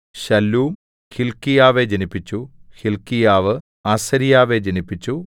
ശല്ലൂം ഹില്ക്കീയാവെ ജനിപ്പിച്ചു ഹില്ക്കീയാവ് അസര്യാവെ ജനിപ്പിച്ചു